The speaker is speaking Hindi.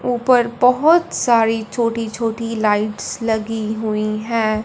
ऊपर बहोत सारी छोटी छोटी लाइट्स लगी हुई हैं।